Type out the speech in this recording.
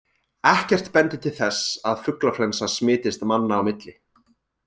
Ekkert bendir til þess að fuglaflensa smitist manna á milli.